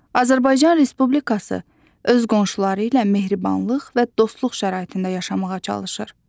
Azərbaycan Respublikası öz qonşuları ilə mehribanlıq və dostluq şəraitində yaşamağa çalışır.